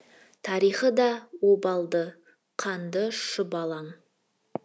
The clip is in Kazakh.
тарихы да обалды қанды шұбалаң